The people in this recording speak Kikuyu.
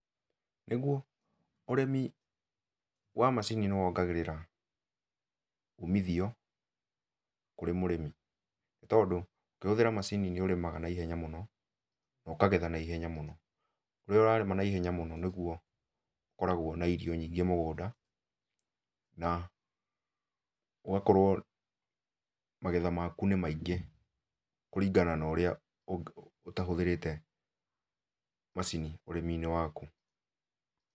Nĩguo, ũrĩmi wa macini nĩwongagĩrĩra umithio kũrĩ mũrĩmi. Nĩtondũ ũkĩhũthĩra macini nĩũrĩmaga naihenya mũno, na ũkagetha naihenya mũno. Rĩrĩa ũrarĩma naihenya mũno nĩguo ũkoragũo na irio nyingĩ mũgũnda, na ũgakorwo magetha maku nĩ maingĩ kũringana na ũrĩa ũtahũthĩrĩte macini ũrĩmi-inĩ waku.